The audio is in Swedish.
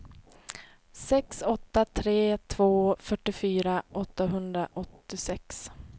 sex åtta tre två fyrtiofyra åttahundraåttiosex